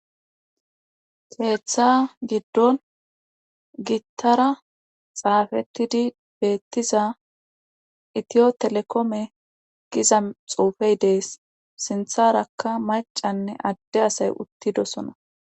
keeththa giddon gittara xaafetidi beettiza itiyo telekome giza xuufey dees sintharakka macanne adde asay uttidosona